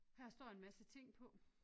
Her står en masse ting på